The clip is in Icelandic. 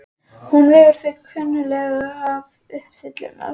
Hún vegur sig klunnalega upp syllurnar.